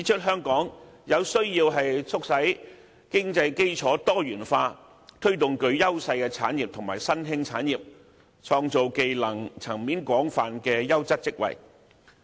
香港需要促進經濟基礎多元化，推動具優勢的產業和新興產業，創造技能層面廣泛的優質職位。